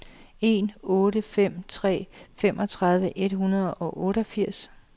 en otte fem tre femogtredive et hundrede og otteogfirs